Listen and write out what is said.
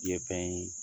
Ye fɛn ye